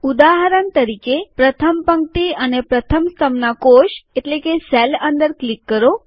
ઉદાહરણ તરીકે પ્રથમ પંક્તિ અને પ્રથમ સ્તંભના કોષ અંદર ક્લિક કરો